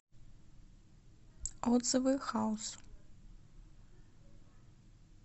отзывы хаус